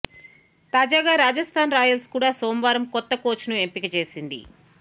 తాజాగా రాజస్తాన్ రాయల్స్ కూడా సోమవారం కొత్త కోచ్ను ఎంపిక చేసింది